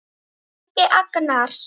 Helgi Agnars.